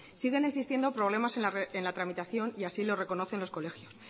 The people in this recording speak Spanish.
siguen existiendo problemas en la tramitación y así lo reconocen los colegios